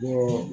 Bɔ